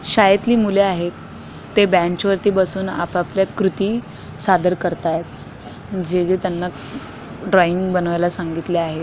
शाळेतील मुले आहेत ते बेंच वरती बसून आपापल्या कृती सादर करतायेत जे जे त्यांना ड्रॉइंग बनवायला सांगितले आहे.